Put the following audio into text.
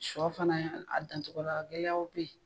Sɔ fana a dancogo la gɛlɛya bɛ yen.